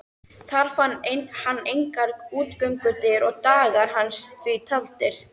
Þar fann hann engar útgöngudyr og dagar hans því taldir.